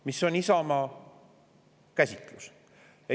Mis on Isamaa käsitlus?